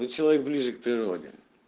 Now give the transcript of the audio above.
ну человек ближе к природе